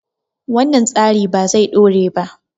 wannan tsari ba zai dore ba